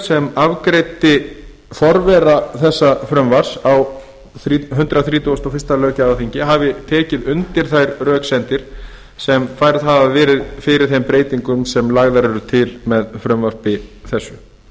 sem afgreiddi forvera þessa frumvarps á hundrað þrítugasta og fyrsta löggjafarþingi hafi tekið undir þær röksemdir sem færðar hafa verið fyrir þeim breytingum sem lagðar eru til með þessu frumvarpi